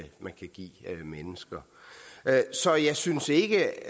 give mennesker så jeg synes ikke